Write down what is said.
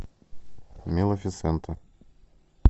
малефисента